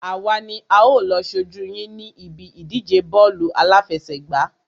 Àwa ni a ó lọ ṣojú yín ní ibi ìdíje bọ́ọ̀lù àláfẹsẹ̀gbá.